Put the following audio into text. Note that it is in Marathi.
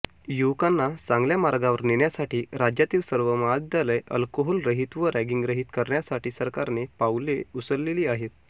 युवकांना चांगल्या मार्गावर नेण्यासाठी राज्यातील सर्व महाविद्यालय अल्कोहोलरहित व रॅगिंगरहीत करण्यासाठी सरकारने पाऊले उचलेली आहेत